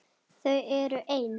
Þau eru ein.